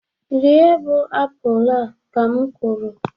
rie bụ apụl a, ka m kwuru!